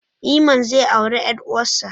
Iman zai auri ƴar uwarsa.